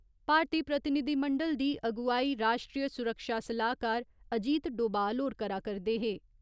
भारतीय प्रतिनिधिमंडल दी अगुवाई राश्ट्रीय सुरक्षा सलाह्कार अजीत डोबाल होर करा करदे हे।